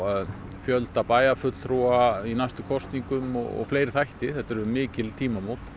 fjölda bæjarfulltrúa í næstu kosningum og fleiri þætti þetta eru mikil tímamót